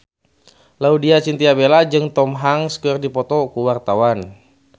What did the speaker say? Laudya Chintya Bella jeung Tom Hanks keur dipoto ku wartawan